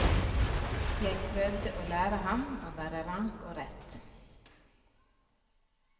Jeg prøvde å lære ham å være rank og rett.